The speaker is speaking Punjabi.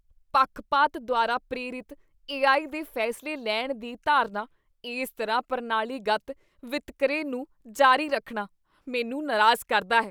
ਪੱਖਪਾਤ ਦੁਆਰਾ ਪ੍ਰੇਰਿਤ ਏਆਈ ਦੇ ਫੈਸਲੇ ਲੈਣ ਦੀ ਧਾਰਨਾ, ਇਸ ਤਰ੍ਹਾਂ ਪ੍ਰਣਾਲੀਗਤ ਵਿਤਕਰੇ ਨੂੰ ਜਾਰੀ ਰੱਖਣਾ, ਮੈਨੂੰ ਨਾਰਾਜ਼ ਕਰਦਾ ਹੈ।